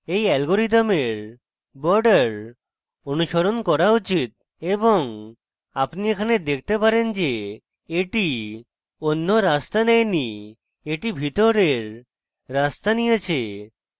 এই অ্যালগরিদমের borders অনুসরণ করা উচিত এবং আপনি এখানে দেখতে পারেন the the অন্য রাস্তা নেয় the the ভিতরের রাস্তা নিয়েছে